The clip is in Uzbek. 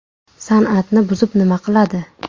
San’atni buzib nima qiladi.